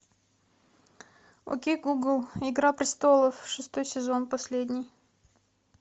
окей гугл игра престолов шестой сезон последний